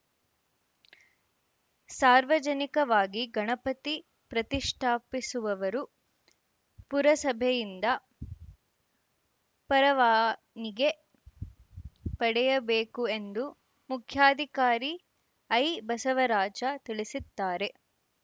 ಸಾರ್ವಜನಿಕವಾಗಿ ಗಣಪತಿ ಪ್ರತಿಷ್ಠಾಪಿಸುವವರು ಪುರಸಭೆಯಿಂದ ಪರವಾನಿಗೆ ಪಡೆಯಬೇಕು ಎಂದು ಮುಖ್ಯಾಧಿಕಾರಿ ಐಬಸವರಾಜ ತಿಳಿಸಿದ್ದಾರೆ